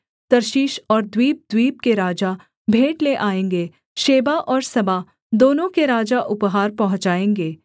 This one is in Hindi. तर्शीश और द्वीपद्वीप के राजा भेंट ले आएँगे शेबा और सबा दोनों के राजा उपहार पहुँचाएगे